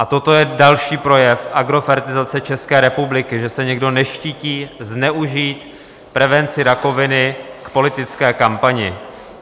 A toto je další projev agrofertizace České republiky, že se někdo neštítí zneužít prevenci rakoviny k politické kampani.